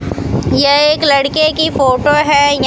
यह एक लड़के की फोटो है ये--